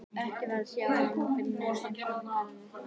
Ekki var að sjá að neinn hefði heimsótt garðinn þennan dag.